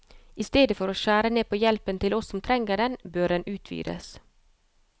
I stedet for å skjære ned på hjelpen til oss som trenger den, bør den utvides.